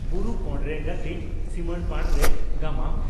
"ᱵᱩᱨᱩ ᱠᱟᱬᱨᱮ ᱜᱟᱹᱛᱤᱧ ᱥᱤᱢᱟᱹᱲᱯᱟᱲᱨᱮ" (ᱜᱟᱢᱟᱢ)